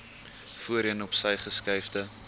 voorheen opsy geskuifde